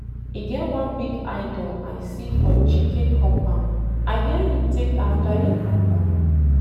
E get one big Idol I see for Chike compound, I hear he take after im papa